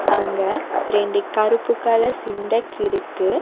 அங்க ரெண்டு கருப்பு கலர் சின்டெக்ஸ் இருக்கு.